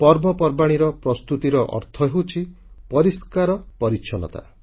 ପର୍ବପର୍ବାଣୀର ପ୍ରସ୍ତୁତିର ଅର୍ଥ ହେଉଛି ପରିଷ୍କାର ପରିଚ୍ଛନ୍ନତା